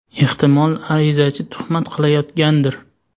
Ehtimol arizachi tuhmat qilyotgandir?